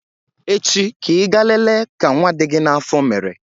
Echi ka Ị gaa lele ka nwa dị gị n'afọ mere